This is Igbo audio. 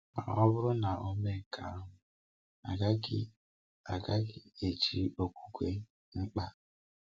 Ma ọ bụrụ na Ọ mee nke ahụ, agaghị agaghị eji okwukwe mkpa.